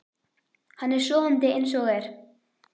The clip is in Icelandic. Hann er sofandi eins og er.